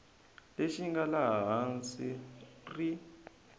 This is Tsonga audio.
lexi nga laha hansi ri